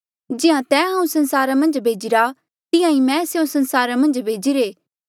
जिहां तैं हांऊँ संसारा मन्झ भेजिरा तिहां ईं मैं स्यों संसारा मन्झ भेजीरे